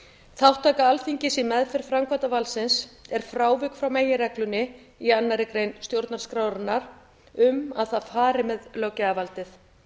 þátttaka alþingis í meðferð framkvæmdarvalds er frávik frá meginreglunni í annarri grein stjórnarskrárinnar um að það fari með löggjafarvaldið